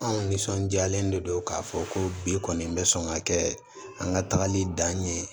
Anw nisɔndiyalen de don k'a fɔ ko bi kɔni bɛ sɔn ka kɛ an ka tagali dan ye